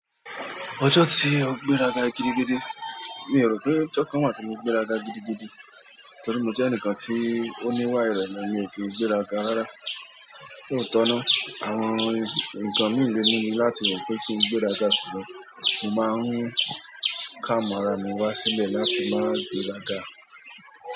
Ọjọ́ tí o gbéraga gidigidi, mi o rò pé ọjọ́ kan máa tíi mo gbéraga gidigidi, torí mo jẹ́ ẹnìkan tí ó ní ìwà ìrẹ̀lẹ̀ míì kì í gbéra ga rárá. Ní òótọ́ náà, àwọn nǹkan míì lé mímu láti rò pé kí n gbéra ga ṣùgbọ́n mo máa ń calm ara mi wá sílẹ̀ láti máa gbé raga.